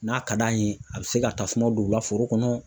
N'a ka d'an ye, a bɛ se ka tasuma don u ka foro kɔnɔ.